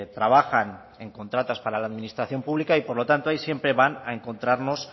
trabajan en contratas para la administración pública y por lo tanto ahí siempre van a encontrarnos